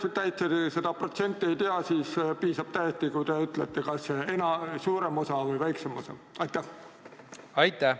Kui te seda protsenti ei tea, siis piisab täiesti, kui te ütlete, kas seda toetab suurem osa või väiksem osa rahvast.